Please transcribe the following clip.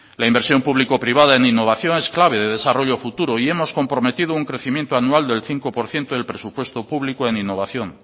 la inversión público privada en innovación es clave de desarrollo a futuro y hemos comprometido un crecimiento anual del cinco por ciento del presupuesto público en innovación